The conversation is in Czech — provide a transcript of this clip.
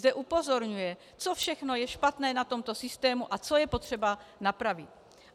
Zde upozorňuje, co všechno je špatné na tomto systému a co je potřeba napravit.